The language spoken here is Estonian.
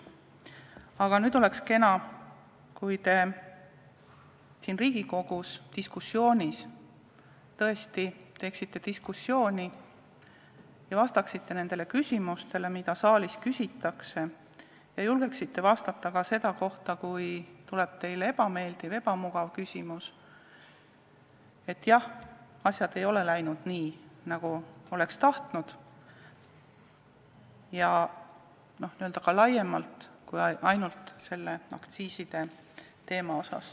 Aga oleks kena, kui te Riigikogus peetava diskussiooni ajal tõesti osaleksite diskussioonis ja vastaksite nendele küsimustele, mida saalis küsitakse, ning julgeksite vastata ka siis, kui tuleb teile ebameeldiv, ebamugav küsimus, et jah, asjad ei ole läinud nii, nagu oleks tahtnud, ja seda ka laiemalt kui ainult selle aktsiisiteema kohta.